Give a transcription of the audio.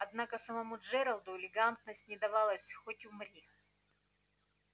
однако самому джералду элегантность не давалась хоть умри